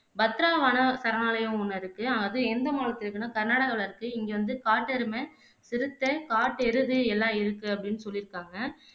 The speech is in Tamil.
பத்ராவானா சரணாலயம் ஒண்ணு இருக்கு அது எந்த மாநிலத்துல இருக்குன்னா கர்நாடகாவுல இருக்கு இங்க வந்து காட்டெருமை, சிறுத்தை, காட்டெருது எல்லாம் இருக்கு அப்படின்னு சொல்லிருக்காங்க